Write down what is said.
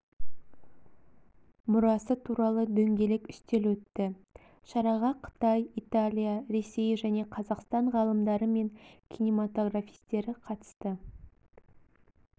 мұрасы туралы дөңгелек үстел өтті шараға қытай италия ресей және қазақстан ғалымдары мен киноматографистері қатысты